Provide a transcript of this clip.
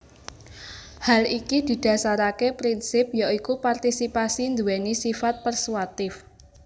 Hal iki didasaraké prinsip ya iku partisipasi nduwèni sifat persuatif